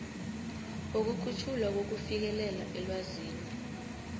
wokukhutjhulwa kokufikelela elwazini